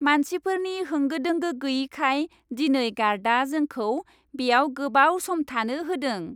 मानसिफोरनि होंगो दोंगो गैयैखाय, दिनै गार्डआ जोंखौ बेयाव गोबाव सम थानो होदों।